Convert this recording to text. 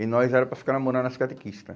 E nós era para ficar namorando as catequista.